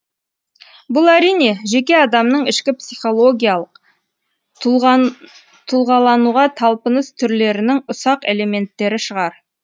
бұл әрине жеке адамның ішкі психологиялық тұлғалануға талпыныс түрлерінің ұсақ элементтері шығар